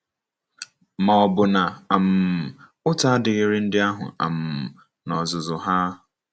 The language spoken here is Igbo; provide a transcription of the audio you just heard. Ma, ọ̀ bụ na um ụta adịghịri ndị ahụ um n’ozuzu ha?